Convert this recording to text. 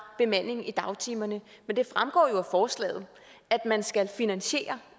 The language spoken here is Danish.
bemandingen i dagtimerne men det fremgår jo af forslaget at man skal finansiere